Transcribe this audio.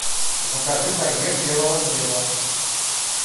закажи багет белого хлеба